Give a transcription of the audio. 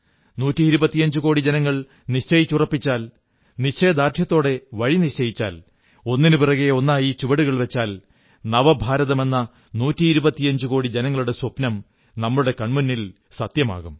നൂറ്റി ഇരുപത്തിയഞ്ചു കോടി ജനങ്ങൾ നിശ്ചയിച്ചുറപ്പിച്ചാൽ നിശ്ചയദാർഢ്യത്തോടെ വഴി നിശ്ചയിച്ചാൽ ഒന്നിനുപിറകെ ഒന്നായി ചുവടുകൾ വച്ചാൽ നവഭാരതമെന്ന നൂറ്റിയിരുപത്തിയഞ്ചുകോടി ജനങ്ങളുടെ സ്വപ്നം നമ്മുടെ കൺമുന്നിൽ സത്യമാകും